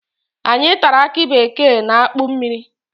Anyị tara aki bekee na akpụ mmiri